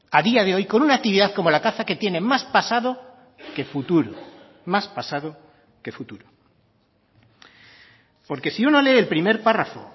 a día de hoy con una actividad como la caza que tiene más pasado que futuro más pasado que futuro porque si uno lee el primer párrafo